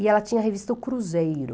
E ela tinha a revista O Cruzeiro.